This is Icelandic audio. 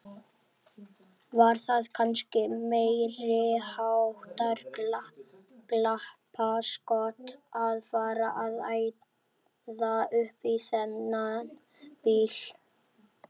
Var það kannski meiriháttar glappaskot að fara að æða upp í þennan bíl!